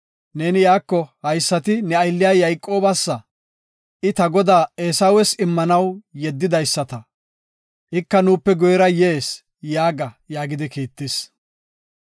ne iyako, ‘Haysati ne aylliya Yayqoobasa, I ta godaa Eesawes immanaw yeddidaysata. Ika nuupe guyera yees’ yaaga” yaagidi kiittis.